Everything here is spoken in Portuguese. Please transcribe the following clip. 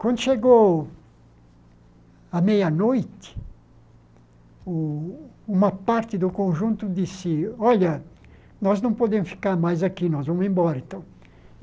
Quando chegou a meia-noite, o uma parte do conjunto disse, olha, nós não podemos ficar mais aqui, nós vamos embora então.